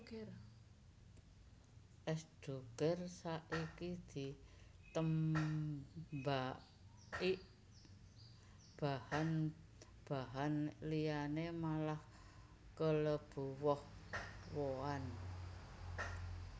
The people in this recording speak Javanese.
Es Doger saki ditembahik bahan bahan liyane malah kelebu woh wohan